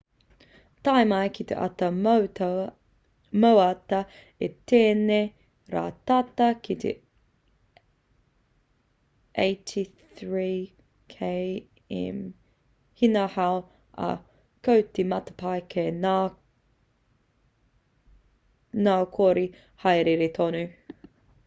tae mai ki te ata moata i tēnei rā tata ki te 83 km/h ngā hau ā ko te matapae ka ngoikore haere tonu